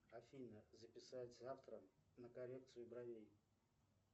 афина записать завтра на коррекцию бровей